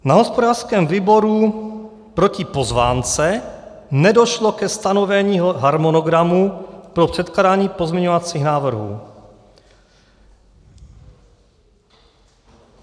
Na hospodářském výboru proti pozvánce nedošlo ke stanovení harmonogramu pro předkládání pozměňovacích návrhů.